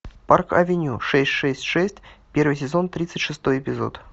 парк авеню шесть шесть шесть первый сезон тридцать шестой эпизод